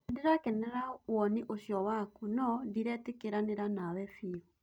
Nĩndĩrakenerera woni ũcio waku nũ ndĩretekanĩria nawe biũ